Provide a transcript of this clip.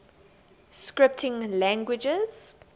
scripting languages